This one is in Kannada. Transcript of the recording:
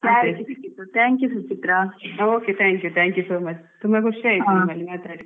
Okay thank you, thank you so much ತುಂಬಾ ಖುಷಿ ಆಯಿತು ನಿಮ್ಮಲ್ಲಿ ಮಾತಾಡಿ .